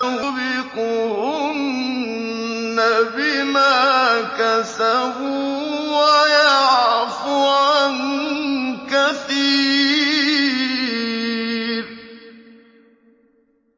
أَوْ يُوبِقْهُنَّ بِمَا كَسَبُوا وَيَعْفُ عَن كَثِيرٍ